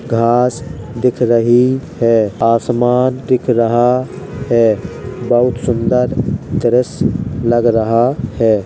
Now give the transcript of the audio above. घांस दिख रही है। आसमान दिख रहा है। बहुत सुन्दर दृश्य लग रहा है।